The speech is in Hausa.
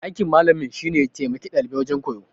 Aikin malamin shine ya taimaki dalibi wajen koyo.